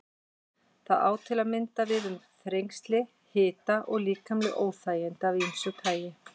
Þetta á til að mynda við um þrengsli, hita og líkamleg óþægindi af ýmsu tagi.